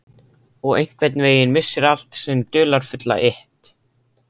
Og einhvern veginn missir allt sinn dularfulla lit.